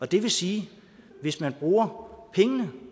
det vil sige at hvis man bruger pengene